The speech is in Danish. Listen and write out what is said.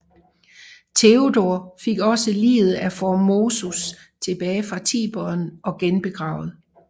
Teodor fik også liget af Formosus tilbage fra Tiberen og genbegravet